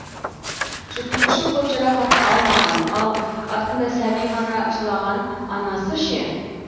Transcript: жүргізуші көп жарақат алмаған ал артында сәби ғана жылаған анасы ше